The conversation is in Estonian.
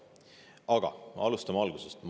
Aga alustame algusest.